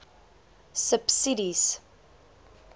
subsidies